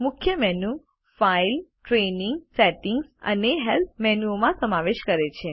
મુખ્ય menu file training settings અને help મેનુઓનો સમાવેશ કરે છે